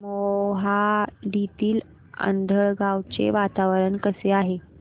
मोहाडीतील आंधळगाव चे वातावरण कसे आहे